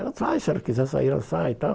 Ela disse, ah, se ela quiser sair, ela sai e tal.